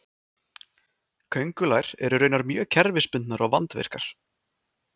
köngulær eru raunar mjög kerfisbundnar og vandvirkar